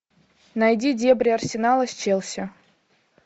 найди дебри арсенала с челси